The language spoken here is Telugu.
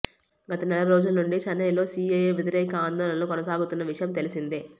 గతనెల రోజుల నుంచి చెన్నైలో సీఏఏ వ్యతిరేక ఆందోళనలు కొనసాగుతున్న విషయం తెలిసిందే